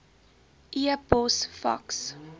e pos faks